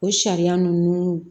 O sariya ninnu